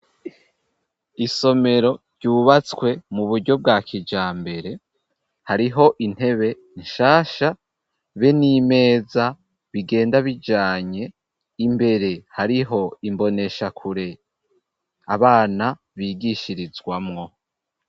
Isomero ryubatswe mu buryo bwa kijambere, hariho intebe nshasha be n'imeza bigenda bijanye, imbere hariho imboneshakure abana bigishirizwamwo.